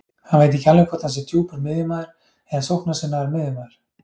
Hann veit ekki alveg hvort hann sé djúpur miðjumaður eða sóknarsinnaður miðjumaður.